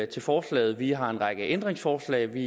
til forslaget vi har en række ændringsforslag vi